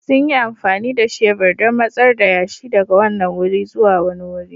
Sun yi amfani da shebur don matsar da yashi daga wannan wuri zuwa wani wuri.